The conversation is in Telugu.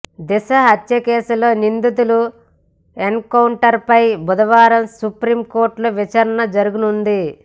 దిశ హత్యకేసులో నిందితుల ఎన్కౌంటర్పై బుధవారం సుప్రీం కోర్టులో విచారణ జరగనుంది